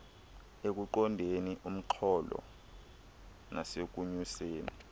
ekuqondeni umxholo nasekunyuseni